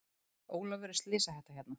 Ólafur er slysahætta hérna?